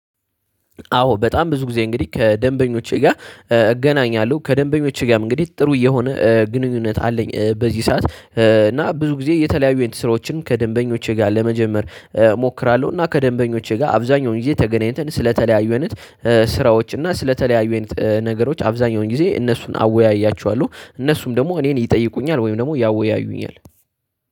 አዎ በጣም ብዙ ጊዜ እንግዲህ ከደንበኞቼ ጋር እገናኛለሁ ከደንበኞቼ ጋርም እንግዲህ ጥሩ የሆነ ግንኙነት አለኝ በዚህ ሰዓት። እና ብዙ ጊዜ የተለያዩ አይነት ስራወችንም ከደንበኞቼ ጋር ለመጀመር እሞክራለሁ። እና ከደንበኞቼ ጋር አብዛኛውን ጊዜ ተገናኝተን ስለተለያዩ አይነት ስራዎች እና ስለተለያዩ አይነት ነገሮች አብዛኛውን ጊዜ እነሱን አወያያቸዋለሁ። እነሱም ደግሞ እኔን ይጠይቁኛል ወይም ደግሞ ያወያዩኛል።